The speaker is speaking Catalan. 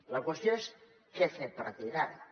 la qüestió és què fer a partir d’ara